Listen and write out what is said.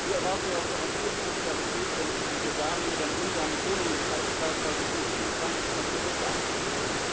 Wir erwarten ja auch europäische Solidarität, wenn in Bulgarien oder in Ungarn die Wohnungen kalt bleiben, weil Russland und die Ukraine sich wieder einmal über das Gas streiten.